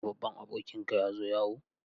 Yau babban abokinka ya zo yawo?